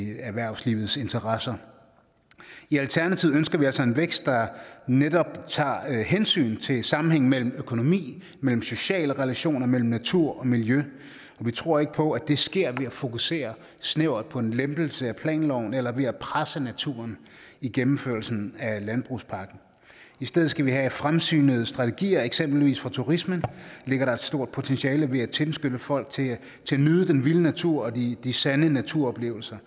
erhvervslivets interesser i alternativet ønsker vi altså en vækst der netop tager hensyn til sammenhængen mellem økonomi sociale relationer natur og miljø og vi tror ikke på at det sker ved at fokusere snævert på en lempelse af planloven eller ved at presse naturen i gennemførelsen af landbrugspakken i stedet skal vi have fremsynede strategier eksempelvis for turismen ligger der et stort potentiale ved at tilskynde folk til at nyde den vilde natur og de de sande naturoplevelser